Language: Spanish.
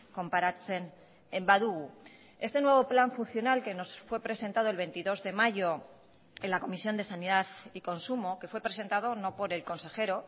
konparatzen badugu este nuevo plan funcional que nos fue presentado el veintidós de mayo en la comisión de sanidad y consumo que fue presentado no por el consejero